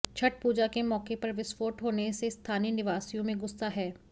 छठ पूजा के मौके पर विस्फोट होने से स्थानीय निवासियों में गुस्सा है